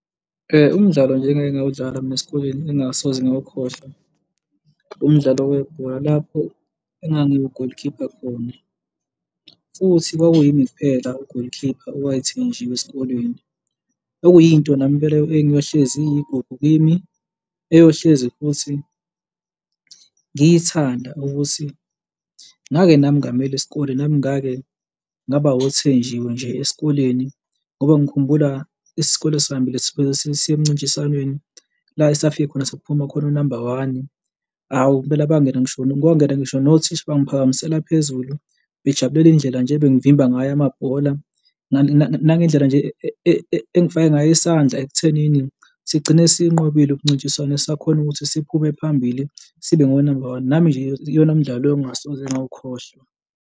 Umdlalo nje engike ngawudlala mina esikoleni engingasoze ngawukhohlwa umdlalo webhola lapho engangiwu golikhipha khona, futhi kwakuyimi kuphela ugolikhipha owayethenjiwe esikoleni. Okuyinto nami impela engiyohlezi iyigubhu kimi eyohlezi futhi ngiyithanda ukuthi ngake nami ngamela isikole nami ngake ngaba othenjiwe nje esikoleni ngoba ngikhumbula isikole sihambile siye emncintiswaneni la esafike khona, saphuma khona unamba one, awu impela bangena ngisho kwangena ngisho nothisha bangiphakamisela phezulu, bejabulela indlela nje ebengivimba ngayo amabhola nangendlela nje engifake ngayo isandla ekuthenini sigcine siyinqobile umncintiswano sakhona ukuthi siphume phambili sibe ngonamba one. Nami nje iyona mdlalo engingasoze ngawukhohlwa.